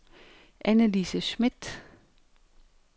Anne-Lise Schmidt